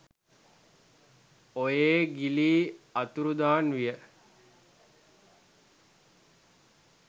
ඔයේ ගිලී අතුරුදන් විය